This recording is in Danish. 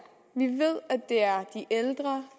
vi ved at det er de ældre